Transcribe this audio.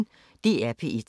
DR P1